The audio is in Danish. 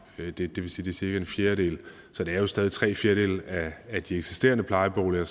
det vil sige det cirka en fjerdedel så der er jo stadig væk tre fjerdedele af de eksisterende plejeboliger